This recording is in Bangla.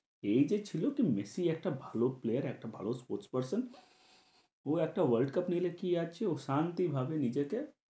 এই যে ছিল কী মেসি একটা ভালো player একটা ভালো sports person, ও একটা world cup নিলে কী আছে, ও শান্তিভাবে নিজেকে